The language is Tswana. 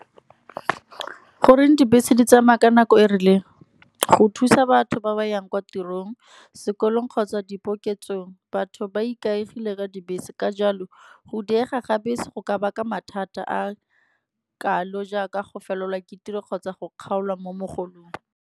Goreng dibese di tsamaya ka nako e rileng, go thusa batho ba ba yang kwa tirong sekolong kgotsa dipoketsong. Batho ba ikaegile ka dibese ka jalo go diega ga bese, go ka baka mathata a kalo jaaka go felelwa ke tiro kgotsa go kgaolwa mo mogolong.